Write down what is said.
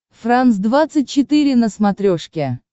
франс двадцать четыре на смотрешке